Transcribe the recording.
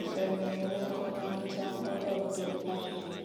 osemiyo nengo mag cham odok piny ahinya.